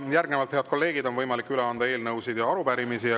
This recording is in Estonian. Järgnevalt, head kolleegid, on võimalik üle anda eelnõusid ja arupärimisi.